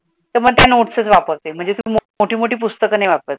मग तया नोट्स वापरते, मोडी पुस्तक नाही वापरत. ल